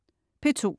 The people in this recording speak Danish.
P2: